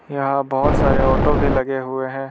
यहां बहुत सारे ऑटो भी लगे हुए हैं।